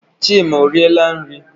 Chima ọriela nri?